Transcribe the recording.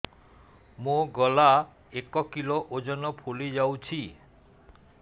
ମୋ ଗଳା ଏକ କିଲୋ ଓଜନ ଫୁଲି ଯାଉଛି